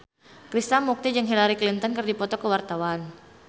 Krishna Mukti jeung Hillary Clinton keur dipoto ku wartawan